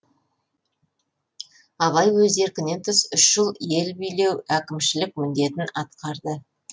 абай өз еркінен тыс үш жыл ел билеу әкімшілік міндетін атқарды